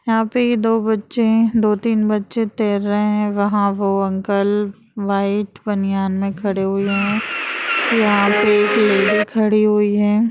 यहाँ पे दो बच्चे है दो-तीन बच्चे तैर रहे है। वहाँ पे वो अंकल व्हाइट बनियान में खड़े हुए है। यहाँ पे एक लेडी खड़ी हुई है।